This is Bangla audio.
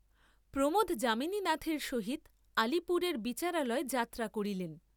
প্রমোদ যামিনীনাথের সহিত আলিপুরের বিচারালয় যাত্রা করিলেন।